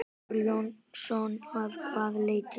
Þór Jónsson: Að hvaða leyti?